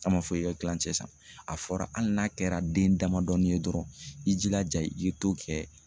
An ma fɔ i ka kilancɛ sisan, a fɔra hali n'a kɛra den damadɔɔni ye dɔrɔn i jilaja i ye to kɛ